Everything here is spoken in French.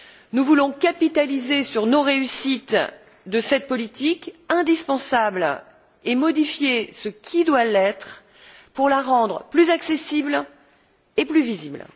Nous voulons capitaliser sur nos réussites dans le cadre de cette politique indispensable et modifier ce qui doit l'être pour la rendre plus accessible et plus visible.